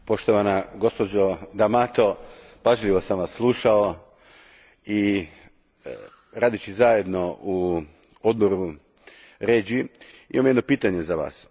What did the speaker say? Poštovana gospođo D'Amato, pažljivo sam vas slušao i radeći zajedno u odboru REGI imam jedno pitanje za vas.